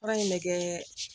Baara in bɛ kɛ